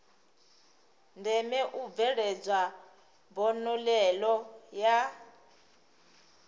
ndeme u bveledzwa mbonalelo ya